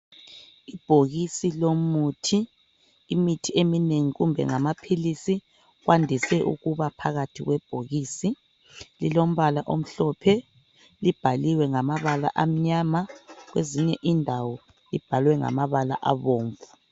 Ibhokisi lomuthi, imithi eminengi kumbe ngamaphilisi kwandise ukuba phakathi kwebhokisi lilombala omhlophe libhaliwe ngamabala amnyama, kwezinye indawo libhalwe ngamabala abomvu.